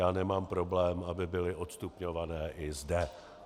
Já nemám problém, aby byly odstupňované i zde.